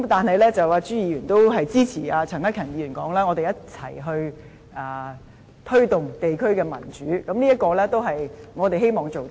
不過，朱議員也支持陳克勤議員所說，即我們一同推動地區的民主，這是我們希望做到的。